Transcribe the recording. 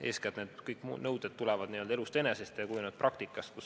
Eeskätt tulenevad kõik need nõuded n-ö elust enesest ja on kujunenud välja praktikas.